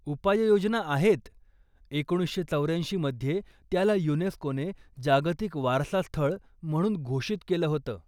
उपाययोजना आहेत, एकोणीसशे चौऱ्याऐंशी मध्ये, त्याला युनेस्कोने जागतिक वारसा स्थळ म्हणून घोषित केलं होतं.